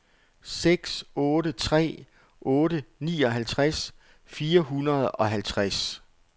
seks otte tre otte nioghalvtreds fire hundrede og halvtreds